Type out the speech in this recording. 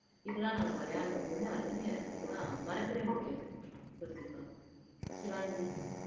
இதெல்லாம் நாங்க விளையாண்டோம் ரொம்ப அருமையா இருக்கு அதுதான் மறக்கவே முடியாது ஸ்ருத்திகா ஷிவாங்கி